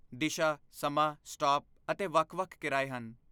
ਦਿਸ਼ਾ, ਸਮਾਂ, ਸਟਾਪ ਅਤੇ ਵੱਖ ਵੱਖ ਕਿਰਾਏ ਹਨ